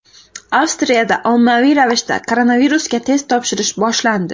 Avstriyada ommaviy ravishda koronavirusga test topshirish boshlandi.